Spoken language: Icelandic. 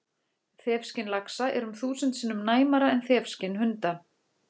Þefskyn laxa er um þúsund sinnum næmara en þefskyn hunda!